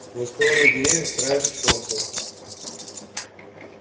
сквозь кроны деревьев краешек солнца